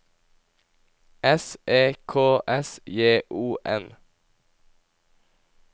S E K S J O N